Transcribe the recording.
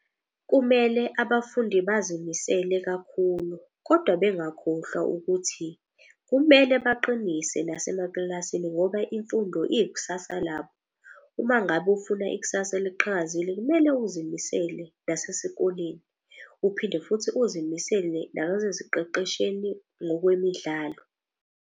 Kumele abafundi bazimisele kakhulu kodwa bengakhohlwa ukuthi kumele baqinise nase emakilasini. Ngoba imfundo iyikusasa labo, uma ngabe ufuna ikusasa eliqhakazile, kumele uzimisele nasesikoleni. Uphinde futhi uzimisele ngokwemidlalo.